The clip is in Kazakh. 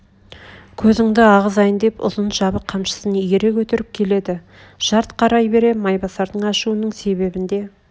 көзіңді ағызайын деп ұзын жабық қамшысын иіре көтеріп келеді жалт қарай бере майбасардың ашуының себебін де